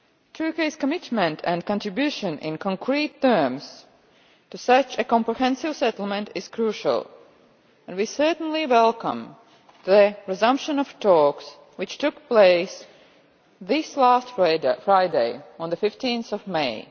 Turkey's commitment and contribution in concrete terms to such a comprehensive settlement is crucial and we certainly welcome the resumption of talks, which took place on 15 May